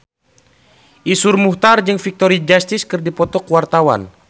Iszur Muchtar jeung Victoria Justice keur dipoto ku wartawan